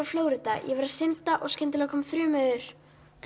Flórída ég var að synda og skyndilega kom þrumuveður